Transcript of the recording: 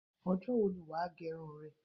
Ọjọ́ wo ni wà á gẹ irun rẹ?